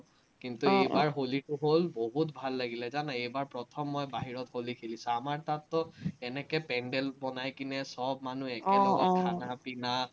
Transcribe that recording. হ'ল, বহুত ভাল লাগিলে জানা, এইবাৰ প্ৰথম মই বাহিৰত হলি খেলিছো, আমাৰ তাততো এনেকে পেন্দেল বনাই কিনে চব মানুহে